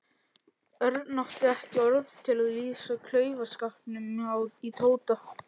Örn átti ekki orð til að lýsa klaufaskapnum í Tóta.